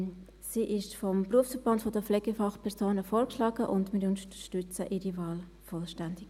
Sie ist vom SBK vorgeschlagen, und wir unterstützen ihre Wahl vollumfänglich.